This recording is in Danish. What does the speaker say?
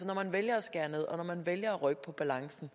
når man vælger at skære ned og når man vælger at rykke på balancen